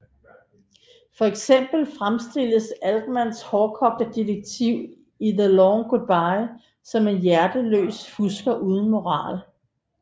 For eksempel fremstilles Altmans hårdkogte detektiv i The Long Goodbye som en hjerteløs fusker uden moral